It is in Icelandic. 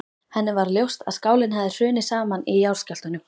Henni varð ljóst að skálinn hafði hrunið saman í jarðskjálftunum.